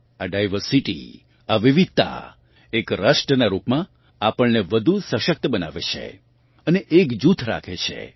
આ ડાયવર્સિટી આ વિવિધતા એક રાષ્ટ્રનાં રૂપમાં આપણને વધુ સશક્ત બનાવે છે અને એકજૂથ રાખે છે